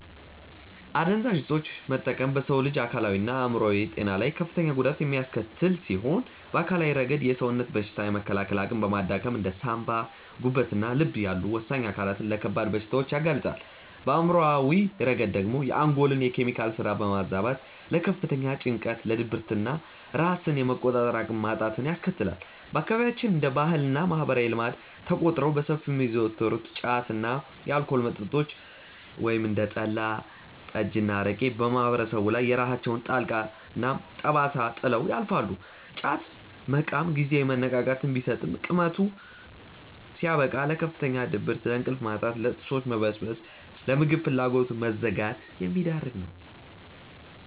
አደንዛዥ እፆችን መጠቀም በሰው ልጅ አካላዊና አእምሯዊ ጤና ላይ ከፍተኛ ጉዳት የሚያስከትል ሲሆን፣ በአካላዊ ረገድ የሰውነትን በሽታ የመከላከል አቅም በማዳከም እንደ ሳንባ፣ ጉበትና ልብ ያሉ ወሳኝ አካላትን ለከባድ በሽታዎች ያጋልጣል፤ በአእምሯዊ ረገድ ደግሞ የአንጎልን የኬሚካል ስራ በማዛባት ለከፍተኛ ጭንቀት፣ ለድብርትና ራስን የመቆጣጠር አቅምን ማጣትን ያስከትላል። በአካባቢያችን እንደ ባህልና ማህበራዊ ልማድ ተቆጥረው በሰፊው የሚዘወተሩት ጫት እና የአልኮል መጠጦች (እንደ ጠላ፣ ጠጅና አረቄ) በማህበረሰቡ ላይ የራሳቸውን ጥልቅ ጠባሳ ጥለው ያልፋሉ፤ ጫት መቃም ጊዜያዊ መነቃቃትን ቢሰጥም ቅመቱ ሲያበቃ ለከፍተኛ ድብርት፣ ለእንቅልፍ ማጣት፣ ለጥርሶች መበስበስና ለምግብ ፍላጎት መዘጋት የሚዳርግ ነው።